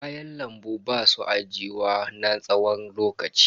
Kayan lambu basu ajiyuwa na tsawon lokaci.